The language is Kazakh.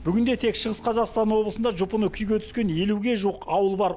бүгінде тек шығыс қазақстан облысында жұпыны күйге түскен елуге жуық ауыл бар